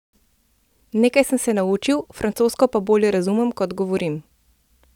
Nekaj sem se naučil, francosko pa bolje razumem, kot govorim.